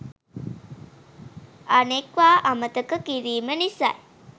අනෙක්වා අමතක කිරීම නිසායි